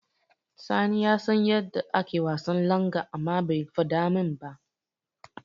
Sani ya san yadda ake wasan langa amma bai faɗa min ba.